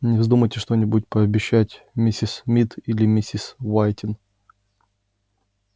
не вздумайте что-нибудь пообещать миссис мид или миссис уайтин